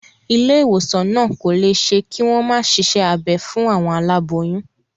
Ilé ìwòsàn náà kò lè ṣe kí wọ́n má ṣiṣẹ́ abẹ fún àwọn aláboyún.